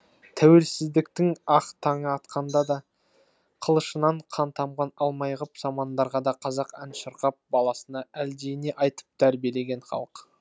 тәуелсіздіктің ақ таңы атқанда да қылышынан қан тамған алмайғып замандарда да қазақ ән шырқап баласына әлдиіне айтып тәрбиелеген халық